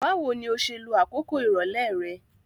Báwoni o se lo àkókò ìrọ̀lẹ́ re